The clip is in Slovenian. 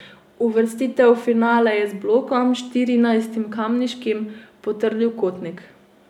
Uvrstitev v finale je z blokom, štirinajstim kamniškim, potrdil Kotnik.